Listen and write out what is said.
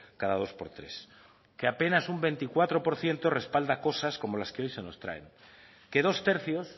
cada dos por tres que apenas un veinticuatro por ciento respalda cosas como las que hoy se nos traen que dos tercios